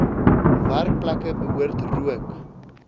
werkplekke behoort rook